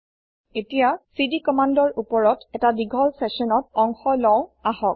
এতিয়া চিডি কমান্দৰ ওপৰত ১টা ডীঘল চেচনত অংশ লও আহক